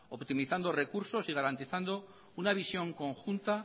optimizando recursos y garantizando una visión conjunta